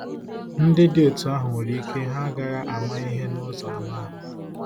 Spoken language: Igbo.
Ndị dị otú ahụ nwere ike ha agaghị “ama ihe n'ụzọ anụ ahụ́.